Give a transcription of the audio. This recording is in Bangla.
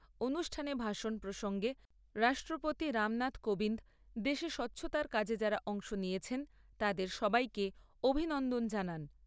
অনুষ্ঠানে ভাষণ প্রসঙ্গে রাষ্ট্রপতি রামনাথ কোবিন্দ দেশে স্বচ্ছতার কাজে যাঁরা অংশ নিয়েছেন, তাদের সবাইকে অভিনন্দন জানান।